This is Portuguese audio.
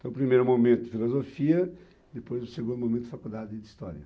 Então, o primeiro momento de filosofia, depois o segundo momento de faculdade de história.